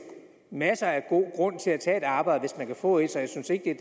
masser af gode grunde til at tage et arbejde hvis man kan få et så jeg synes ikke